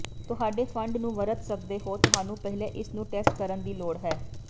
ਤੁਹਾਡੇ ਫੰਡ ਨੂੰ ਵਰਤ ਸਕਦੇ ਹੋ ਤੁਹਾਨੂੰ ਪਹਿਲੇ ਇਸ ਨੂੰ ਟੈਸਟ ਕਰਨ ਦੀ ਲੋੜ ਹੈ